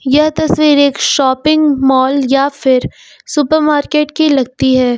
यह तस्वीर एक शॉपिंग मॉल या फिर सुपर मार्केट की लगती है।